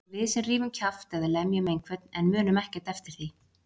Einsog við sem rífum kjaft eða lemjum einhvern en munum ekkert eftir því.